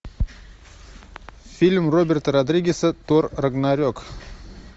фильм роберта родригеса тор рагнарек